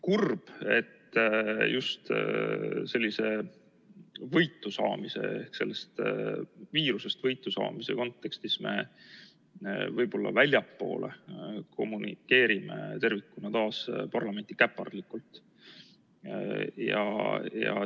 Kurb, et just sellest viirusest võitusaamise kontekstis me võib-olla väljapoole kommunikeerime parlamenti taas käpardlikult.